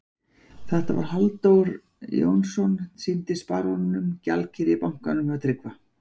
Þetta var Halldór Jónsson, sýndist baróninum, gjaldkeri í bankanum hjá Tryggva.